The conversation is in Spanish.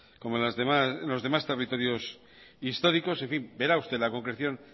como en los demás territorios históricos en fin verá usted la concreción